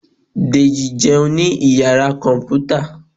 Deji jẹun ni iyara kọnputa